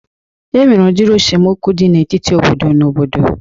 E nwere udiri esemokwu dị n'etiti obodo na obodo